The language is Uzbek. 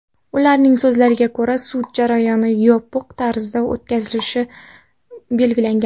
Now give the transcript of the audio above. Ularning so‘zlariga ko‘ra, sud jarayoni yopiq tarzda o‘tkazilishi belgilangan.